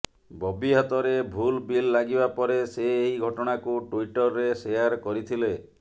ବବି ହାତରେ ଭୁଲ ବିଲ୍ ଲାଗିବା ପରେ ସେ ଏହି ଘଟଣାକୁ ଟୁଇଟରରେ ସେୟାର କରିଥିଲେ